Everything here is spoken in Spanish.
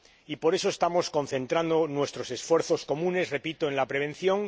Y por eso estamos concentrando nuestros esfuerzos comunes —repito— en la prevención.